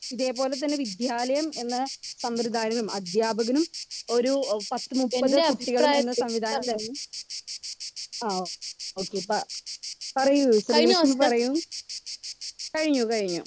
speaker 2 ഇതേപോലതെന്നെ വിദ്യാലയം എന്ന സംവൃദായം അധ്യാപകനും ഒരു പത്ത്‌മുപ്പത് കുട്ടികളും എന്ന സംവിധാനം തൊടങ്ങി ആ ഓക്കേ പ്പൊ പറയു ശ്രീലക്ഷ്മി പറയു കഴിഞ്ഞു കഴിഞ്ഞു